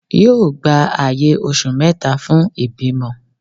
yóò gbá ayè osù meta fún ibimọ